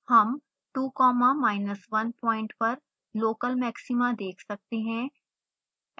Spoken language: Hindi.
हम 2 comma minus 1 प्वाइंट पर local maxima देख सकते हैं